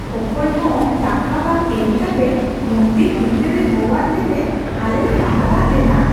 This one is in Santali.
ᱚᱠᱚᱭ ᱦᱚᱸ ᱴᱟᱠᱟ ᱵᱟᱝ ᱮᱢ ᱠᱟᱛᱮ ᱢᱚᱱᱫᱤᱨ ᱵᱷᱤᱛᱟᱹᱨ ᱨᱮ ᱦᱚᱦᱚᱣᱟᱫ ᱞᱮᱛᱮ ᱟᱞᱮ ᱞᱮ ᱦᱟᱦᱟᱲᱟᱜ ᱞᱮᱱᱟ ᱾